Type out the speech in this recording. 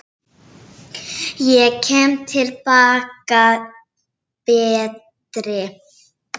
Ég kem til baka betri.